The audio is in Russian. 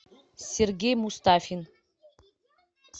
сергей мустафин